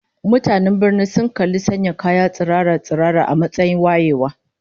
Mutanen birnin sun kalli sanya kaya tsirara-tsirara a matsayin wayewa